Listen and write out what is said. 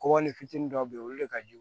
Kɔkɔli fitinin dɔw be yen olu de ka jugu